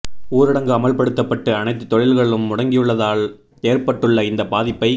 ஊரடங்கு அமல்படுத்தப் பட்டு அனைத்து தொழில்களும் முடங்கியுள்ளதால் ஏற்பட்டுள்ள இந்த பாதிப்பை